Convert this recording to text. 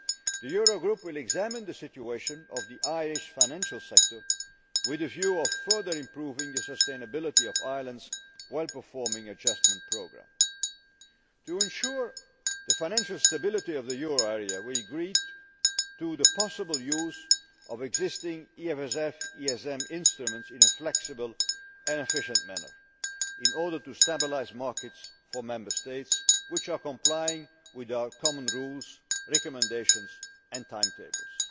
The Euro Group will examine the situation of the Irish financial sector, with a view to further improving the sustainability of Ireland's well performing adjustment programme. To ensure the financial stability of the euro area, we agreed to the possible use of existing EFSF ESM instruments in a flexible and efficient manner, in order to stabilise markets for Member States which are complying with our common rules, recommendations and timetables.